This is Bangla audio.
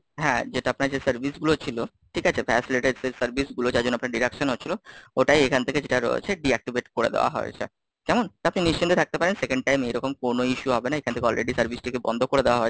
হ্যাঁ যেটা আপনার যে service গুলো ছিল, ঠিক আছে, vacillate service গুলো যার জন্য আপনার deduction হচ্ছিল, ওটাই এখান থেকে যেটার রয়েছে deactivate করে দেওয়া হয়েছে। কেমন? আপনি নিশ্চিন্তে থাকতে পারেন, Second time এরকম কোনো issue হবে না, এখান থেকে All ready service টিকে বন্ধ করে দেওয়া হয়েছে।